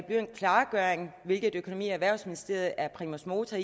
blive en klargøring i hvilken økonomi og erhvervsministeriet er primus motor